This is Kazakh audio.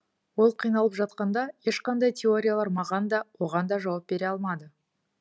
ол қиналып жатқанда ешқандай теориялар маған да оған да жауап бере алмады